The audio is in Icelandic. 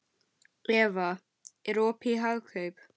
Eva, er opið í Hagkaup?